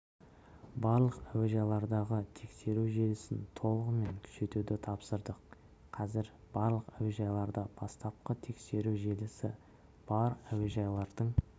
барлық әуежайлардағы тексеру желісін толығымен күшейтуді тапсырдық қазір барлық әуежайларда бастапқы тексеру желісі бар әуежайлардың